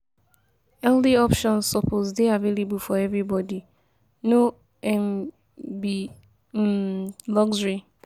Healthy options suppose dey available for everybody, no um be um luxury.